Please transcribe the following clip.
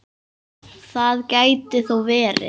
Það gæti þó verið.